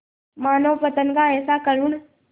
मानवपतन का ऐसा करुण